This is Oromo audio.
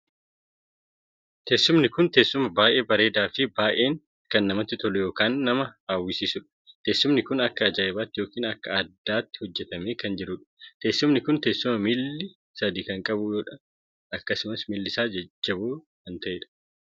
Teessumni kun teessuma baay'ee bareedaa fi baay'ee kan namatti tolu ykn kan nama hawwisiisuudha. teessumni kun akka ajaa'ibaatti ykn akka addaatti hojjetamee kan jiruudha. teesumni kun teessuma miilli sadii kan qabuudha. akkasumas miilli isaa jajjalloo kan taheedha.